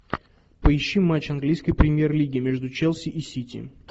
поищи матч английской премьер лиги между челси и сити